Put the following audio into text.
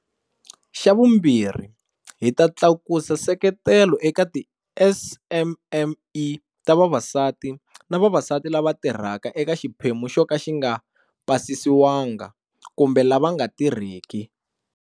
Xa vumbirhi, hi ta tlakusa nseketelo eka tiSMME ta vavasati na vavasati lava tirhaka eka xiphemu xo ka xi nga pasisiwanga kumbe lava nga tirheki.